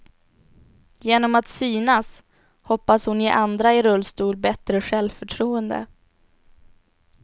Genom att synas hoppas hon ge andra i rullstol bättre självförtroende.